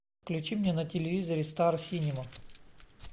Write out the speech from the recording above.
включи мне на телевизоре стар синема